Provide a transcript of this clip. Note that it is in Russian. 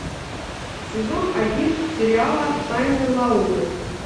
сезон один сериала тайны лауры